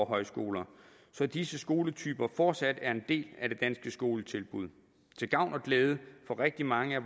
højskoler så disse skoletyper fortsat er en del af det danske skoletilbud til gavn og glæde for rigtig mange af